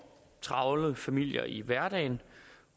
travle familier i hverdagen